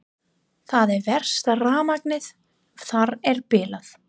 Það er verst að rafmagnið þar er bilað.